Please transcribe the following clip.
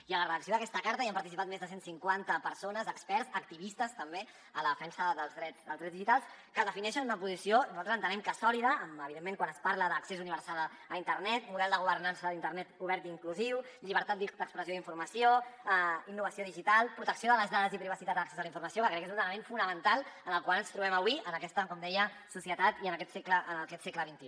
i en la redacció d’aquesta carta hi han participat més de cent cinquanta persones experts activistes també de la defensa dels drets digitals que defineixen una posició nosaltres entenem que sòlida evidentment quant es parla d’accés universal a internet model de governança d’internet obert i inclusiu llibertat d’expressió i d’informació innovació digital protecció de les dades i privacitat a l’accés de la informació que crec que és un element fonamental en el qual ens trobem avui en aquesta com deia societat i en aquest segle xxi